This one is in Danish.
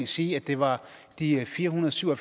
sige at det var de fire hundrede og syv og